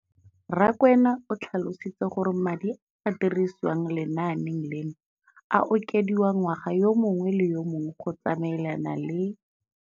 Rakwena o tlhalositse gore madi a a dirisediwang lenaane leno a okediwa ngwaga yo mongwe le yo mongwe go tsamaelana le.